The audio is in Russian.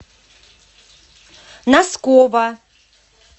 носкова